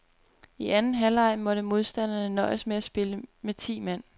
I anden halvleg måtte modstanderne nøjes med at spille med ti mand.